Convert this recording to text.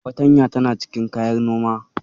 Fartanya tana cikin kayan Noma